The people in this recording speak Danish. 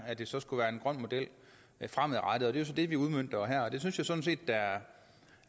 at det så skulle være en grøn model fremadrettet det er så det vi udmønter her og det synes jeg sådan set er